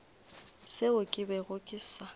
seo ke bego ke sa